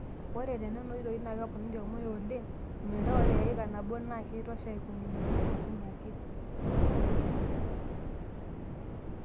Ore te Nena oitoi naa keponari ormuya oleng o metaa ore eika nabo naa keitosha irkuniyiani okuni ake.